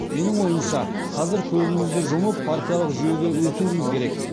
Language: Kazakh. менің ойымша қазір көзімізді жұмып партиялық жүйеге өтуіміз керек